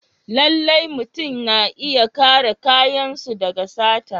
Lallai mutum yana iya kare kayansu daga sata.